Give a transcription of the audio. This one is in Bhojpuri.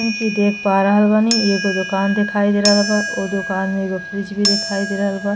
कि देख पा रहल बानी एगो दोकान देखाई दे रहल बा। ओ दोकान में एगो फ्रीज भी देखाई दे रहल बा।